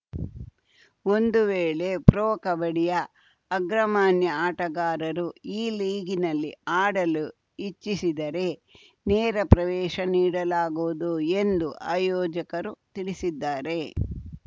ಒಂದು ವೇಳೆ ಪ್ರೊ ಕಬಡ್ಡಿಯ ಅಗ್ರಮಾನ್ಯ ಆಟಗಾರರು ಈ ಲೀಗಿನಲ್ಲಿ ಆಡಲು ಇಚ್ಛಿಸಿದರೆ ನೇರ ಪ್ರವೇಶ ನೀಡಲಾಗುವುದು ಎಂದು ಆಯೋಜಕರು ತಿಳಿಸಿದ್ದಾರೆ